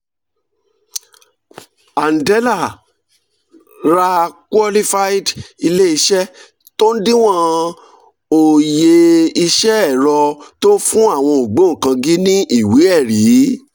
andela ra qualified ilé-iṣẹ́ tó ń díwọ̀n òye iṣẹ́ ẹ̀rọ tó ń fún àwọn ògbóǹkangí ní ìwé ẹ̀rí.